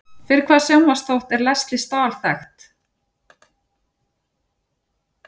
Fyrir hvaða sjónvarpsþátt er Lesley Stahl þekkt?